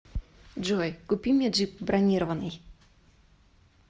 джой купи мне джип бронированный